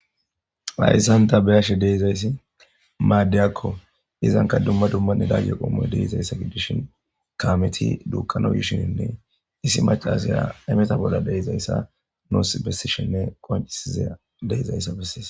layssanta beyashe deizayssi maaddeyakko izanka dumma dummanne daage qoomoy deeizayssa giddishin kaameti duukkanoyishininne isi macasaya emeta bolla deizayssa noos bessishenne qoncisiza deizayssa bessees